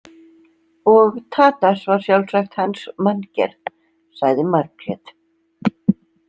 Og Tadas var sjálfsagt hans manngerð, sagði Margrét.